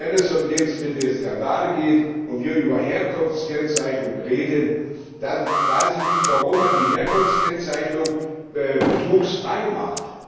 Denn wenn es um Lebensmittelskandale geht und wir über Herkunftskennzeichnung reden, dann weiß ich nicht, warum man die Herkunftskennzeichnung betrugsfrei macht.